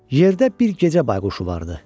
Yerdə bir gecə bayquşu vardı.